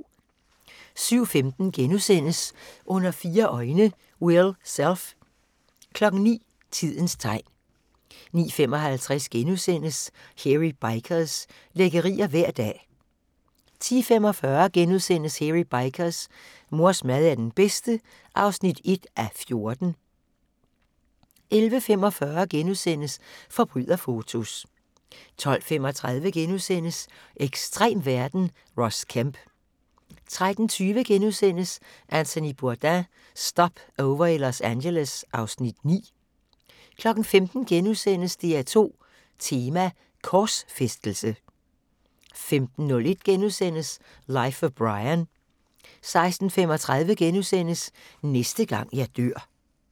07:15: Under fire øjne – Will Self * 09:00: Tidens tegn 09:55: Hairy Bikers – lækkerier hver dag (6:6)* 10:45: Hairy Bikers: Mors mad er den bedste (1:14)* 11:45: Forbryderfotos * 12:35: Ekstrem verden – Ross Kemp * 13:20: Anthony Bourdain – Stopover i Los Angeles (Afs. 9)* 15:00: DR2 Tema: Korsfæstelse * 15:01: Life of Brian * 16:35: Næste gang jeg dør *